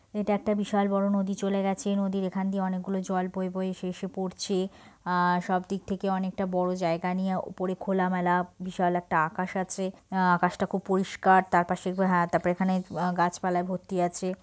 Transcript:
এটা একটা বিশাল বড়ো নদী চলে গেছে এই নদীর এখান দিয়ে অনেক গুলো জল বয়ে বয়ে এসে এসে পড়ছে আর সব দিক থেকে অনেকটা বড়ো জায়গা নিয়ে উপরে খোলা মেলা বিশাল একটা আকাশ আছে আকাশটা খুব পরিষ্কার তারপাশে হ্যাঁ তারপরে এখানে গাছপালা ভর্তি আছে।